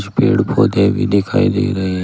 पेड़ पौधे भी दिखाई दे रहे हैं।